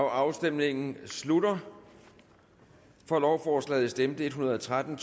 afstemningen slutter for stemte en hundrede og tretten